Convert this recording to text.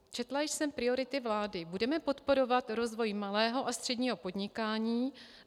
Četla jsem priority vlády: Budeme podporovat rozvoj malého a středního podnikání.